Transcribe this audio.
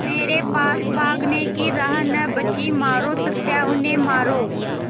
मेरे पास भागने की राह न बची मारो सत्या उन्हें मारो